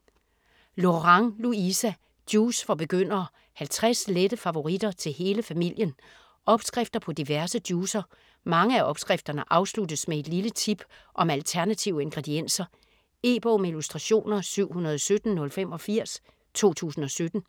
Lorang, Louisa: Juice for begyndere: 50 lette favoritter til hele familien Opskrifter på diverse juicer. Mange af opskrifterne afsluttes med et lille tip om alternative ingredienser. E-bog med illustrationer 717085 2017.